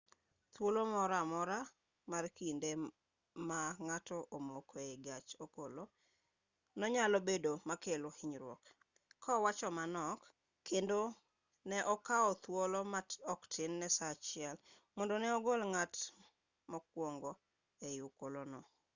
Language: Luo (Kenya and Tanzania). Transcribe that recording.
thuolo moro amora mar kinde ma ng'ato omoko ei gach okolo no nyalo bedo makelo hinyruok ka awacho manok kendo ne okao thuolo ma oktin ne saa achiel mondo ne ogol ng'at mokwongo e okolo no